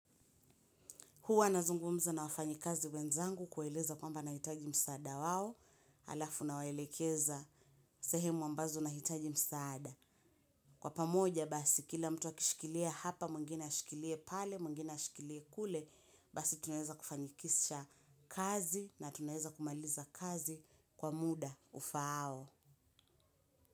Huwa nazungumza na wafanyikazi wenzangu kueleza kwamba nahitaji msaada wao alafu nawaelekeza sehemu ambazo nahitaji msaada. Kwa pamoja basi kila mtu akishikilia hapa mwngine ashikilie pale mwingine ashikilie kule basi tunaweza kufanikisha kazi na tunaweza kumaliza kazi kwa muda ufaao.